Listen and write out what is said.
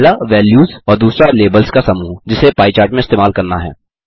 पहला वैल्यूज़ और दूसरा लेबल्स का समूह जिसे पाई चार्ट में इस्तेमाल करना है